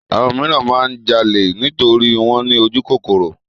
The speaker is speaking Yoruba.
Àwọn míràn máa ń jalè nítorí wọ́n ní ojúkòkòrò.